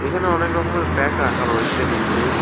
এখানে অনেক রকমের ব্যাগ রাখা রয়েছে নীচে।